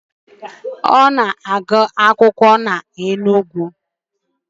Ọ na-agụ akwụkwọ na Enugu.